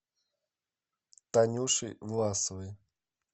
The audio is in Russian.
танюшей власовой